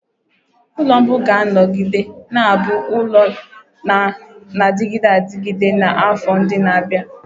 Ụlọ mbu ga-anọgide na-abụ ụlọ na-adịgide adịgide na afọ ndị na-abịa.